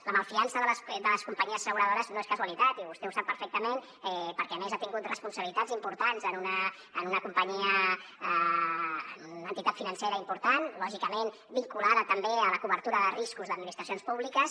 la malfiança de les companyies asseguradores no és casualitat i vostè ho sap perfectament perquè a més ha tingut responsabilitats importants en una companyia en una entitat financera important lògicament vinculada també a la cobertura de riscos d’administracions públiques